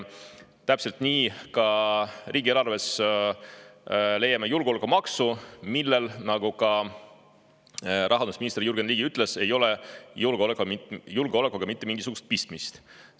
Täpselt samamoodi leiame riigieelarvest julgeolekumaksu, millel, nagu ka rahandusminister Jürgen Ligi ütles, ei ole julgeolekuga mitte mingisugust pistmist.